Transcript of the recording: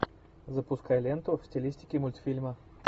запускай ленту в стилистике мультфильма